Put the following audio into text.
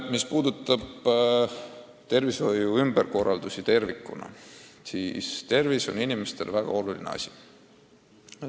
Mis puudutab tervishoiu ümberkorraldusi tervikuna, siis tervis on inimestele väga oluline asi.